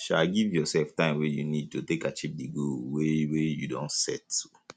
um give your sef time wey you need to take achieve di goal wey um wey um you don set um